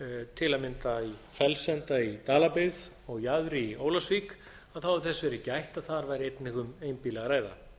til að mynda í fellsenda í dalabyggð og jaðri í ólafsvík hefur þess verið gætt að þar væri einnig um einbýli að ræða